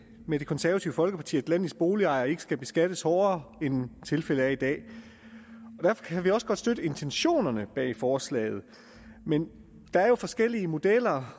med det konservative folkeparti at landets boligejere ikke skal beskattes hårdere end tilfældet er i dag derfor kan vi også godt støtte intentionerne bag forslaget men der er jo forskellige modeller